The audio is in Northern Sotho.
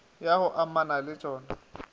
ya go amana le tšona